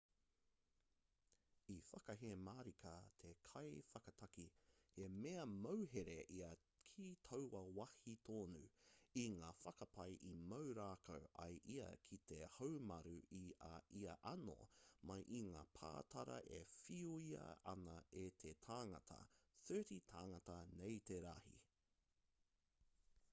i whakahē marika te kaiwhakataki he mea mauhere ia ki taua wāhi tonu i ngā whakapae i mau rākau ai ia ki te haumaru i a ia anō mai i ngā pātara e whiua ana e te tāngata 30 tāngata nei te rahi